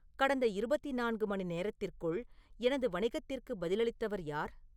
கடந்த இருபத்தி நான்கு மணி நேரத்திற்குள் எனது வணிகத்திற்கு பதிலளித்தவர் யார்